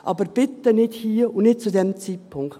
Aber bitte nicht hier und nicht zu diesem Zeitpunkt.